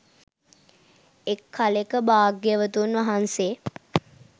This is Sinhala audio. එක් කලෙක භාග්‍යවතුන් වහන්සේ